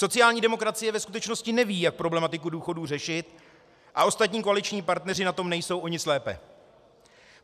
Sociální demokracie ve skutečnosti neví, jak problematiku důchodů řešit, a ostatní koaliční partneři na tom nejsou o nic lépe.